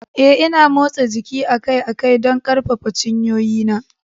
Eh, Ina motsa jiki akai-akai don ƙarfafa cinyoyina.